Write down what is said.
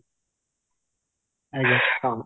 ଆଜ୍ଞା ହଁ